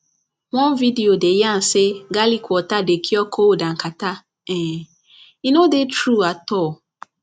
one video dey yarn say garlic water dey cure cold and catarrh um e no dey true at all